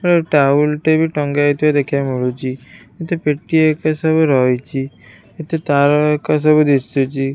ଏ towel ଟେ ବି ଟଙ୍ଗା ହେଇଥିବାର ଦେଖିବାକୁ ମିଳୁଚି କେତେ ପେଟି ଏକା ସବୁ ରହିଚି ଏଥିରେ ତାର ଏକା ସବୁ ଦିଶୁଚି।